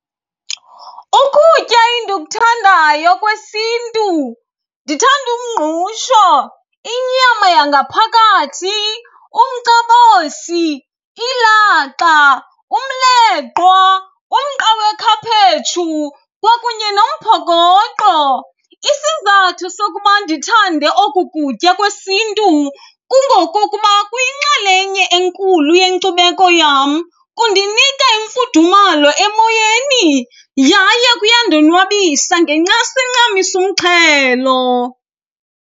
Ukutya endikuthandayo kwesiNtu, ndithanda umngqusho, inyama yangaphakathi, umcabosi, ilaxa, umleqwa, umqa wekhaphetshu kwakunye nomphokoqo. Isizathu sokuba ndithande oku kutya kwesiNtu kungokokuba kuyinxalenye enkulu yenkcubeko yam, kundinika imfudumalo emoyeni yaye kuyandonwabisa ngencasa encamisa umxhelo.